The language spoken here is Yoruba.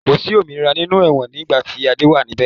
Kosi òmìnira nínú ẹ̀wọ̀n nigbati Adé wá nibẹ̀